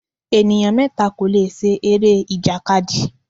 Ènìyàn mẹ́ta kò lè ṣe eré-ìjàkadì.